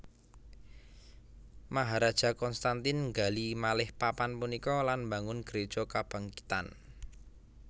Maharaja Konstantin nggali malih papan punika lan mbangun gréja kabangkitan